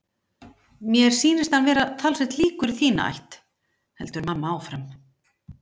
Mér sýnist hann vera talsvert líkur í þína ætt, heldur mamma áfram.